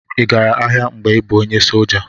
Ị gara agha mgbe ị bụ onye soldier?